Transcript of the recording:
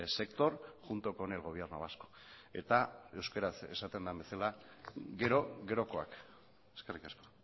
sector junto con el gobierno vasco eta euskaraz esaten den bezala gero gerokoak eskerrik asko